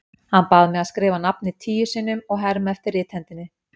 Hann bað mig að skrifa nafnið tíu sinnum og herma eftir rithendinni.